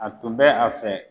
A tun bɛ a fɛ